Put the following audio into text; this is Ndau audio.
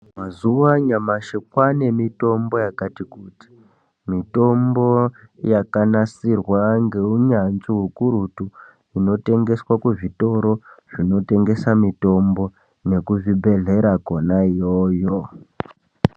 Mazuwa anyamashi kwaane mitombo yakati kuti, mitombo yakanasirwa ngeunyanzvi ukurutu. Inotengeswea muzvitoro zvinotengesa mitombo, nekuzvibhedhlera kwona iyoyo.